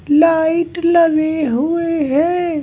Light लगे हुए हैं।